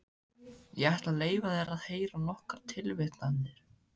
Ég ætla að leyfa þér að heyra nokkrar tilvitnanir.